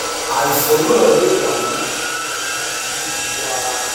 àìsàn náà lè wà ní ibi kan tàbí ní gbogbo ara